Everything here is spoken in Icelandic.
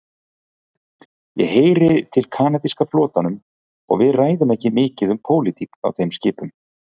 Ég heyri til kanadíska flotanum og við ræðum ekki mikið um pólitík á þeim skipum.